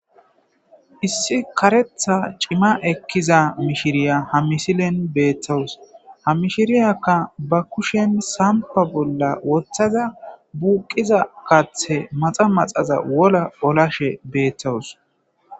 Issi karetha cima ekkiza mishiriya ha misilen beethtowus ha mishiriyakka ba kushen sampa bolla woththaza buuqiza kathe maxa maxaza wola olashe beethtowus.